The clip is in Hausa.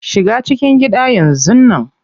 Shiga cikin gida yanzun nan.